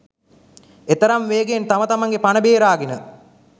එතරම් වේගයෙන් තම තමන්ගේ පණ බේරාගෙන